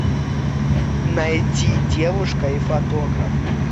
найти девушка и фотограф